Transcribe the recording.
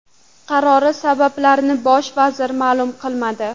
Qarori sabablarini bosh vazir ma’lum qilmadi.